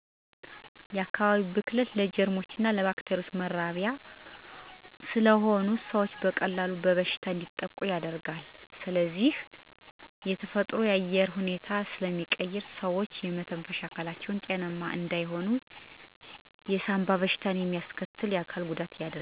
የአካባቢ ብክለት ለጀርሞችና ባክቴሪያዎች መራቢያ ስለሚሆን ሰዎች በቀላሉ በበሽታ እንዲጠቁ ያደርጋቸዋል ከዚህ በተጨማሪ የተፈጥሮን የአየር ሁኔታ ስለሚቀይር ሰዎች የመተንፈሻ አካላቸው ጤነኛ እንዳይሆን እንዲሁም የሳንባ በሽተኛ ያርጋቸዋል። የአካባቢ ብክለትን ለመቀነስ፦ ቆሻሻን በተለያዩ መንገድ ማስወገድ ይኖርባቸዋል። ለምሳሌ የፈሳሽ ቆሻሻ ማፋሰሻ ጉድጓድ በመቆፈር በዚያ ላይ ማፋሰስ፣ ደረቅ ቆሻሻን በአንድ ላይ በማጠራቀም ማቃጠል የመሳሰሉት ናቸው